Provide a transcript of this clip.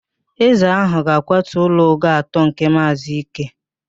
Eze ahụ ga-akwatu ụlọ ogo atọ nke Maazị Ike